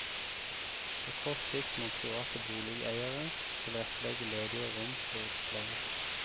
På kort sikt må private boligeiere tilrettelegge ledige rom for utleie.